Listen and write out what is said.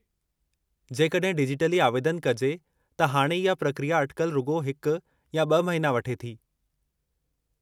जेकड॒हिं डिजिटली आवेदनु कजे त हाणे इहा प्रक्रिया अटिकल रुॻो हिकु या ब॒ महीना वठे थी।